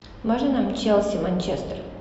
можно нам челси манчестер